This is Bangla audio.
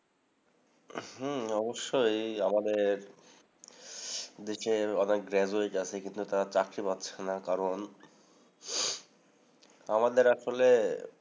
হম অবশ্যই। আমাদের দেশে অনেক graduate আছে। কিন্তু, তারা চাকরি পাচ্ছে না কারণ, আমাদের আসলে